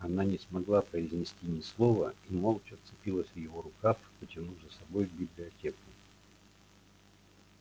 она не смогла произнести ни слова и молча вцепилась в его рукав потянув за собой в библиотеку